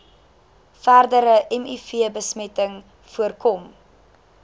verdere mivbesmetting voorkom